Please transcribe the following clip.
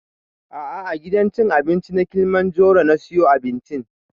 A'a a gidan cin abinci na kilimanjaro na siyo abincin